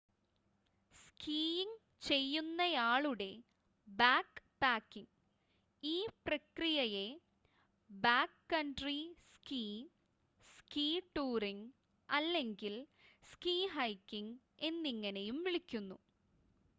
skiing ചെയ്യുന്നയാളുടെ backpacking ഈ പ്രക്രിയയെ ബാക്ക്കൺട്രി സ്കീ സ്കീ ടൂറിംഗ് അല്ലെങ്കിൽ സ്കീ ഹൈക്കിംങ് എന്നിങ്ങനെയും വിളിക്കുന്നു